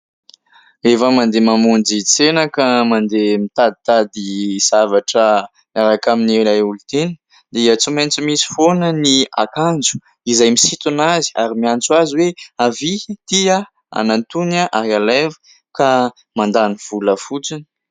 Rehefa mandeha mamonjy tsena ka mandeha mitaditady zavatra miaraka amin'ny ilay olon-tiana, dia tsy maintsy misy foana ny akanjo izay misintona azy ary miantso azy hoe : "avia! inty aho! hanantony aho ary alaivo!", ka mandany vola fotsiny.